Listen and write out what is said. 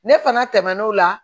Ne fana tɛmɛn'o la